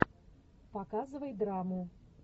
показывай драму